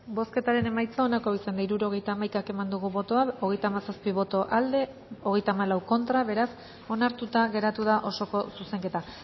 bozketaren emaitza onako izan da hirurogeita hamaika eman dugu bozka hogeita hamazazpi boto aldekoa veinticuatro contra beraz onartuta geratu da osoko zuzenketa